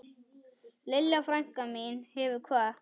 Lilja frænka mín hefur kvatt.